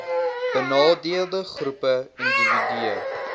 benadeelde groepe indiwidue